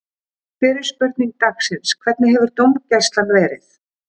Fyrri spurning dagsins: Hvernig hefur dómgæslan verið?